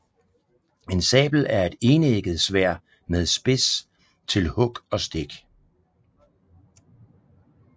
En sabel er et enægget sværd med spids til hug og stik